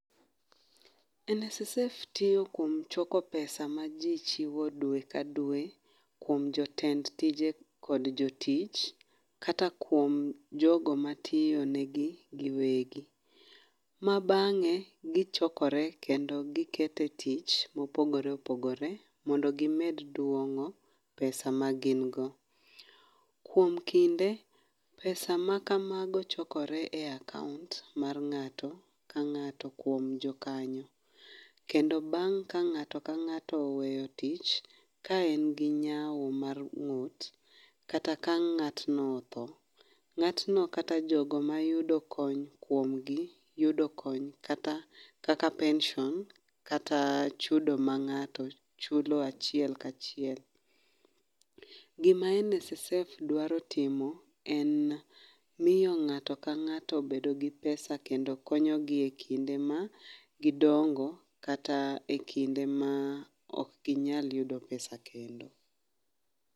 NSSF tiyo kuom choko pesa ma ji chiwo dwe ka dwe, kuom jotend tije kod jotich, kata kuom jogo matiyo negi giwegi. Mabangé gichokore kendo gikete tich mopogore opogore, mondo gimed duongó pesa ma gin go. Kuom kinde, pesa ma kamago chokore e account mar ngáto ka ngáto kuom jo kanyo. Kendo bang' ka ngáto ka ngáto oweyo tich, ka en gi nyau mar ngút, kata ka ngátno othoo, ngátno, kata jogo ma yudo kony kuomgi, yudo kony, kata, kaka pension, kata chudo ma ngáto chulo achiel ka achiel. Gima NSSF dwaro timo en, miyo ngáto ka ngáto bedo gi pesa, kendo konyo gi e kinde ma gidongo, kata e kinde ma okginyal yudo pesa kendo.